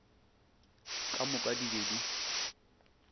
ka moka di be di